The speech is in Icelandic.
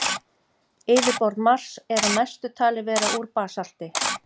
Yfirborð Mars er að mestu talið vera úr basalti.